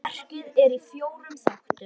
Verkið er í fjórum þáttum.